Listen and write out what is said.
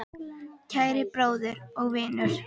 Kæri bróðir og vinur.